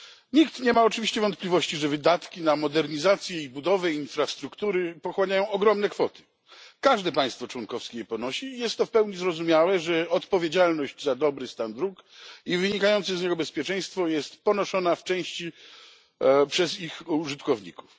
Nikt nie ma oczywiście wątpliwości, że wydatki na modernizację i budowę infrastruktury pochłaniają ogromne kwoty. Każde państwo członkowskie je ponosi i jest to w pełni zrozumiałe, że odpowiedzialność za dobry stan dróg i wynikające z niego bezpieczeństwo jest ponoszona w części przez ich użytkowników.